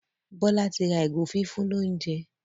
Bola tí ra ìgò fífún l'ounjẹ.